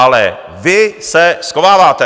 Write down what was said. Ale vy se schováváte.